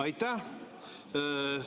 Aitäh!